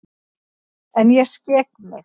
En ég skek mig.